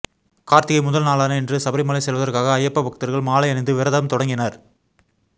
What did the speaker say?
கார்த்திகை முதல் நாளான இன்று சபரிமலை செல்வதற்காக ஐயப்ப பக்தர்கள் மாலை அணிந்து விரதம் தொடங்கினர்